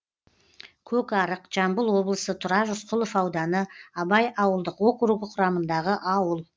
көкарық жамбыл облысы тұрар рысқұлов ауданы абай ауылдық округі құрамындағы ауыл